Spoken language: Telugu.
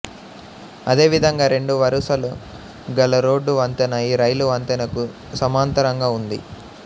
అదే విధంగా రెండు వరుసలు గల రోడ్డు వంతెన ఈ రైలు వంతెనకు సమాంతరంగా ఉంది